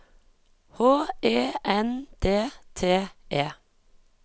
H E N D T E